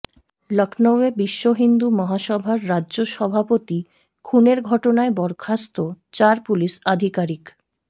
লখনউয়ে বিশ্ব হিন্দু মহাসভার রাজ্য সভাপতি খুনের ঘটনায় বরখাস্ত চার পুলিস আধিকারিক